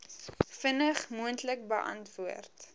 vinnig moontlik beantwoord